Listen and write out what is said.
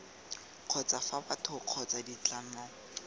kgotsa fa batho kgotsa ditlamo